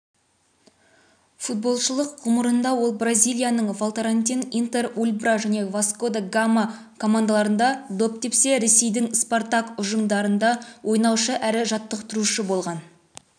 футболшылық ғұмырында ол бразилияның волторантин интер ульбра және васко да гама командаларында доп тепсе ресейдің спартак ұжымдарында ойнаушы әрі жаттықтырушы болған